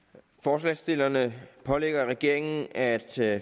forslagsstillerne pålægger regeringen at